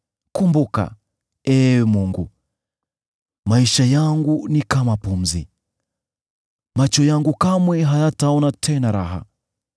Kumbuka, Ee Mungu, maisha yangu ni kama pumzi; macho yangu kamwe hayataona tena raha.